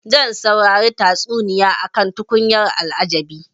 Zan saurari tatsuniya akan tukunyar al'ajabi.